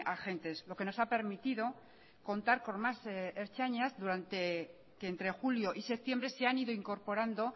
agentes lo que nos ha permitido contar con más ertzainas que entre julio y septiembre se han ido incorporando